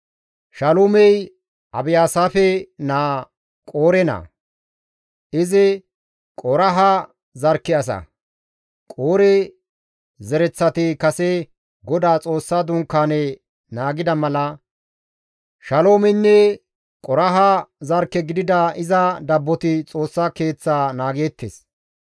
Shaalumey Abiyaasaafe naaza Qoore naa; izi Qoraaha zarkke asa. Qoore zereththati kase Godaa Xoossa Dunkaane naagida mala Shaloomeynne Qoraaha zarkke gidida iza dabboti Xoossa Keeththa naageettes.